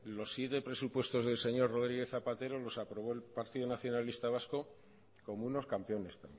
los siete presupuestos del señor rodríguez zapatero los aprobó el partido nacionalista vasco como unos campeones